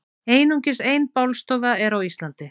Einungis ein bálstofa er á Íslandi.